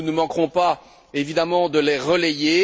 nous ne manquerons pas, évidemment, de les relayer.